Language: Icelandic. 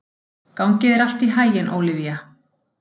Gangi þér allt í haginn, Ólivía.